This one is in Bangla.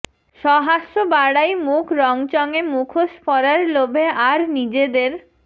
সহাস্য বাড়াই মুখ রঙচঙে মুখোশ পরার লোভে আর নিজেদের